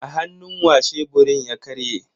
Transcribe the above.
A hannu wa sheburin nan ya karye?